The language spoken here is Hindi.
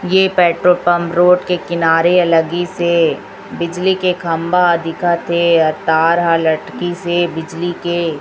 ये पेट्रोल पंप रोड के किनारे अ लगिसे बिजली के ह खंभा दिखत हे अ तार हा लटकी से बिजली के --